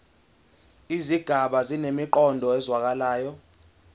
izigaba zinemiqondo ezwakalayo